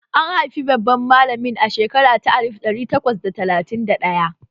An haifi babban malamin a shekara ta alif ɗari takwas da talatin da ɗaya